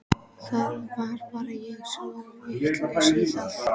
Það var bara ég sem var vitlaus í það.